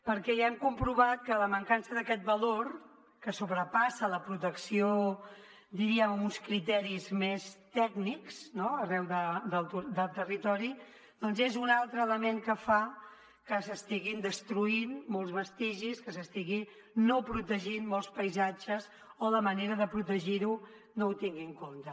perquè ja hem comprovat que la mancança d’aquest valor que sobrepassa la protecció diríem amb uns criteris més tècnics no arreu del territori doncs és un altre element que fa que s’estiguin destruint molts vestigis que s’estiguin no protegint molts paisatges o la manera de protegir ho no ho tingui en compte